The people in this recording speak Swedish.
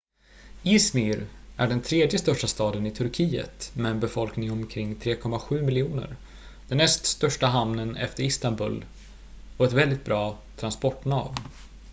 i̇zmir är den tredje största staden i turkiet med en befolkning omkring 3,7 miljoner den näst största hamnen efter istanbul och ett väldigt bra transportnav